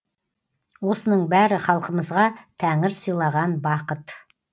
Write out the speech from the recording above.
осының бәрі халқымызға тәңір сыйлаған бақыт